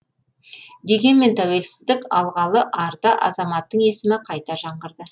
дегенмен тәуелсіздік алғалы арда азаматтың есімі қайта жаңғырды